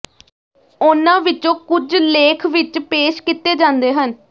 ਉਨ੍ਹਾਂ ਵਿਚੋਂ ਕੁਝ ਲੇਖ ਵਿਚ ਪੇਸ਼ ਕੀਤੇ ਜਾਂਦੇ ਹਨ